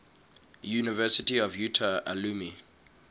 university of utah alumni